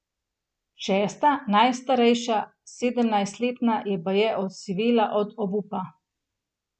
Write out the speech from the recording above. Šesta, najstarejša, sedemnajstletna, je baje osivela od obupa.